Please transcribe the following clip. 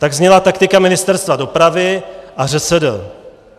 Tak zněla taktika Ministerstva dopravy a ŘSD.